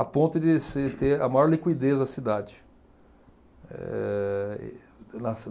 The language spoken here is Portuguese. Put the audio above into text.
A ponto de se ter a maior liquidez da cidade. Eh